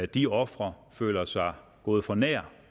de ofre føler sig gået for nær